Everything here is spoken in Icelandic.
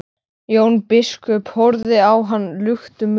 Jón biskup horfði á hann luktum munni.